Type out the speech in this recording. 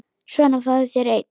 Svona, fáðu þér einn.